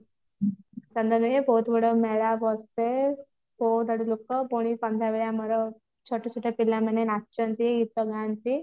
ଚନ୍ଦନ ହୁଏ ବହୁତ ବଡ ମେଳା ବସେ ପୁଣି ସନ୍ଧ୍ଯା ବେଳେ ଆମର ଛୋଟ ଛୋଟ ପିଲାମାନେ ନାଚନ୍ତି ଗୀତଗାନ୍ତି